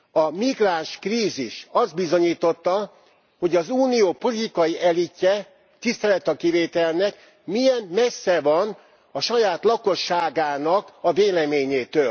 A migránskrízis azt bizonyította, hogy az Unió politikai elitje tisztelet a kivételnek milyen messze van saját lakosságának a véleményétől.